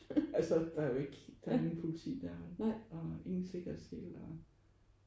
Altså der er jo ikke der er ikke nogen politi deroppe og ingen sikkerhedsseler og